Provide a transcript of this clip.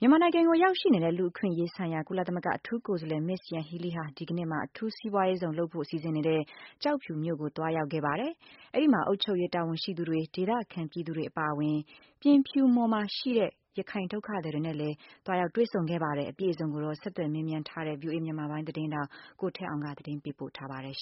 မြန်မာနိုင်ငံကို ရောက်ရှိနေတဲ့ လူ့အခွင့်အရေးဆိုင်ရာ ကုလသမဂ္ဂအထူးကိုယ်စားလှယ် Ms.Yanghee Lee ဟာ ဒီကနေ့မှာ အထူးစီးပွားရေးဇုန်လုပ်ဖို့ စီစဉ်နေတဲ့ ကျောက်ဖြူမြို့ကို သွားရောက်ခဲ့ပါတယ်။ အဲဒီမှာ အုပ်ချုပ်ရေး တာဝန်ရှိသူတွေ၊ ဒေသခံပြည်သူတွေအပါအဝင် ပြင်ဖြူမော်မှာ ရှိတဲ့ ရခိုင်ဒုက္ခသည်တွေနဲ့လည်း တွေ့ဆုံခဲ့တာပါ။ အပြည့်အစုံကိုတော့ ဆက်သွယ်မေးမြန်းထားတဲ့ ဗွီအိုအေမြန်မာပိုင်း သတင်းထောက် ကိုထက်အောင်က တင်ပြပေးမှာပါ။